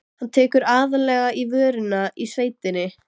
Hann tekur aðallega í vörina í sveitinni.